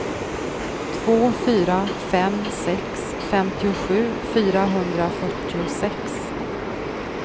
två fyra fem sex femtiosju fyrahundrafyrtiosex